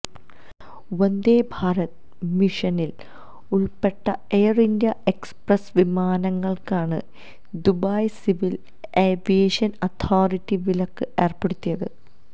വന്ദേ ഭാരത് മിഷനില് ഉള്പ്പെട്ട Air India Express വിമാനങ്ങള്ക്കാണ് ദുബായ് സിവില് ഏവിയേഷന് അതോറിറ്റി വിലക്ക് ഏര്പ്പെടുത്തിയത്